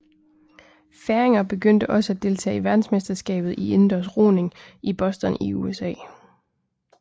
Færinger begyndte også at deltage til verdensmesterskabet i indendørs roning i Boston i USA